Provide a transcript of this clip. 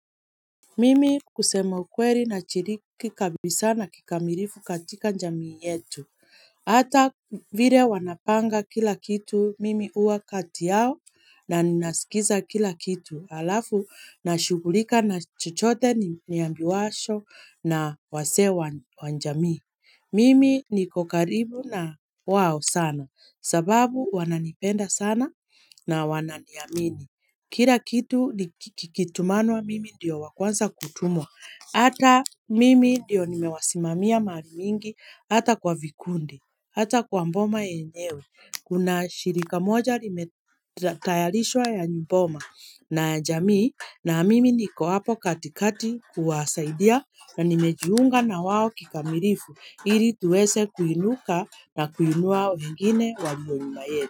Mimi kusema ukweli nashiriki kabisa na kikamilifu katika jamii yetu. Hata vile wanapanga kila kitu, mimi huwa kati yao na ninasikiza kila kitu. Halafu, nashughulika na chochote niambiwacho na wazee wa jamii. Mimi niko karibu na wao sana. Sababu wananipenda sana na wananiamini. Kila kitu kikitumanwa mimi ndiyo wa kwanza kutumwa, hata mimi ndiyo nimewasimamia mahali mingi, hata kwa vikundi, hata kwa boma yenyewe, kuna shirika moja limetayarishwa ya boma, na jamii, na mimi niko hapo katikati kuwasaidia, na nimejiunga na wao kikamilifu, ili tuweze kuinuka na kuinua wengine walio nyuma yetu.